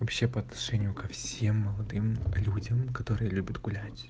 вообще по отношению ко всем молодым людям которые любят гулять